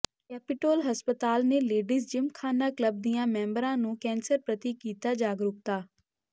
Capitol ਹਸਪਤਾਲ ਨੇ ladies Gymkhana club ਦੀਆਂ ਮੈਂਬਰਾਂ ਨੂੰ ਕੈਂਸਰ ਪ੍ਰਤੀ ਕੀਤਾ ਜਾਗਰੂਕਤਾ